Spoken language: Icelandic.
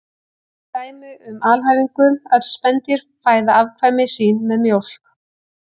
Tökum dæmi um alhæfingu: Öll spendýr fæða afkvæmi sín með mjólk